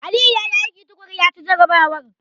Aliyu ya yi aiki tuƙuru, ya ci jarrabawar.